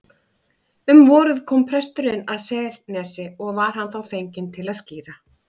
Um vorið kom presturinn að Selnesi og var hann þá fenginn til að skíra.